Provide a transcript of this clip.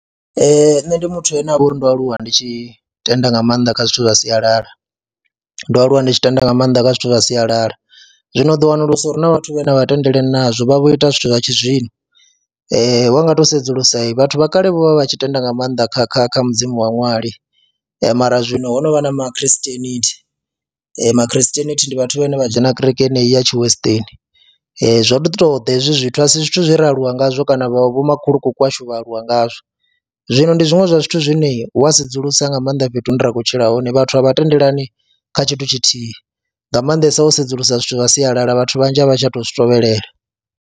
Ee, nṋe ndi muthu ane a vha uri ndo aluwa ndi tshi tenda nga maanḓa kha zwithu zwa sialala, ndo aluwa ndi tshi tenda nga maanḓa kha zwithu zwa sialala, zwino ndi wanulusa uri hu na vhathu vhane a vha tendelani nazwo, vha vho ita zwithu zwa tshizwino wa nga to sedzulusa he vhathu vha kale vho vha vha tshi tenda nga maanḓa kha kha kha mudzimu wa ṅwali mara zwino ho no vha na ma christianity. Ma christianity ndi vhathu vhane vha dzhena kereke yeneyi ya tshi western, zwo ḓi tou ḓa hezwi zwithu a si zwithu zwe ra aluwa ngazwo kana vho makhulukuku washu vha aluwa ngazwo. Zwino ndi zwiṅwe zwa zwithu zwine wa sedzulusa nga maanḓa fhethu hune ra khou tshila hone vhathu a vha tendelani kha tshithu tshithihi nga maanḓesa wo sedzulusa zwithu zwa sialala vhathu vhanzhi a vha tsha tou zwi tevhelela.